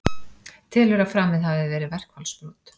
Telur að framið hafi verið verkfallsbrot